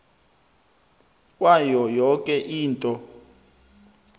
kwayo yoke into